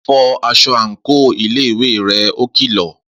Fọ aṣọ àǹkóò iléèwé rẹ! Ó kìlọ̀